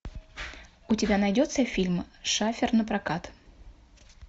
у тебя найдется фильм шафер напрокат